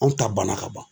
Anw ta banna ka ban